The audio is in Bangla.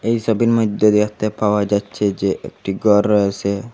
এই ছবির মধ্যে দেখতে পাওয়া যাচ্ছে যে একটি ঘর রয়েসে।